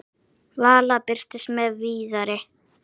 Vala birtist með Viðari.